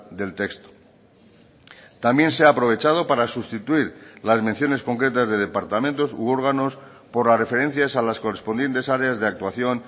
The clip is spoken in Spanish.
del texto también se ha aprovechado para sustituir las menciones concretas de departamentos u órganos por las referencias a las correspondientes áreas de actuación